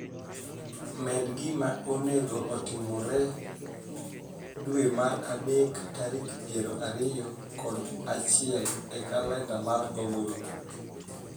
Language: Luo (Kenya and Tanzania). Med gima onego otimre dwe mar adek tarik piero ariyo kod achiel e kalenda mar google